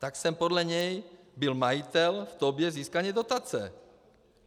Tak jsem podle něj byl majitel v době získání dotace.